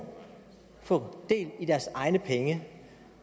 få del i deres egne penge